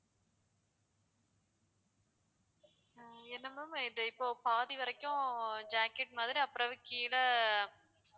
அஹ் என்ன ma'am இது இப்போ பாதி வரைக்கும் jacket மாதிரி அப்புறம் அதுக்கு கீழே